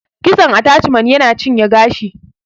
Kitson ataciman yana cinye gashi